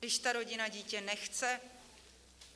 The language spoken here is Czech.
Když ta rodina dítě nechce?